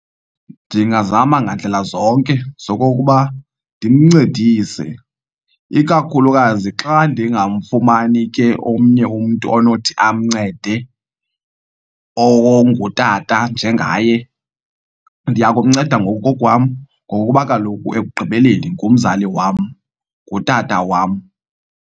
Ndingazama ngandlela zonke zokokuba ndimncedise ikakhulukazi xa ndingamfumani ke omnye umntu onothi amncede ongutata njengaye. Ndiyakumnceda ngokokwam ngokuba kaloku ekugqibeleni ngumzali wam, ngutata wam.